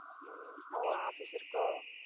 உம் ஒ office இருக்கோ